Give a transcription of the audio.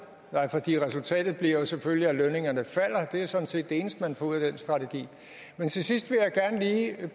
resultatet bliver selvfølgelig at lønningerne falder det er sådan set det eneste man får ud af den strategi til sidst